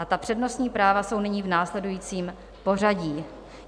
A ta přednostní práva jsou nyní v následujícím pořadí.